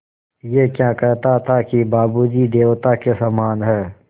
ऐं क्या कहता था कि बाबू जी देवता के समान हैं